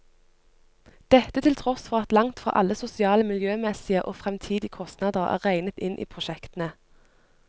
Dette til tross for at langt fra alle sosiale, miljømessige og fremtidige kostnader er regnet inn i prosjektene.